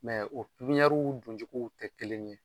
Mɛ o pipiɲariw don cogow tɛ kelen ye.